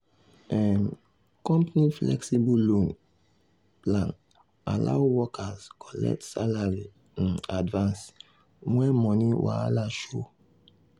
um company flexible loan um plan allow workers collect salary um advance when money wahala show.